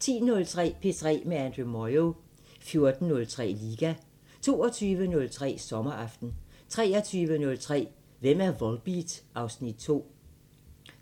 10:03: P3 med Andrew Moyo 14:03: Liga 22:03: Sommeraften 23:03: Hvem er Volbeat? (Afs. 2)